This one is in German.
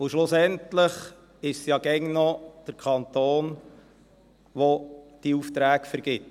Und schlussendlich ist es ja immer noch der Kanton, der diese Aufträge vergibt.